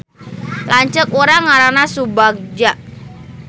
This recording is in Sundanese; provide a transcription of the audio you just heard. Lanceuk urang ngaranna Subagja